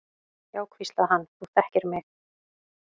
Já, hvíslaði hann, þú þekkir mig.